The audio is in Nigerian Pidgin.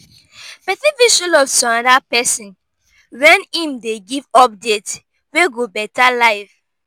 persin fit show love to another person when im de give updates wey go better life